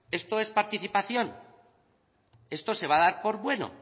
esto es participación esto se va a dar por bueno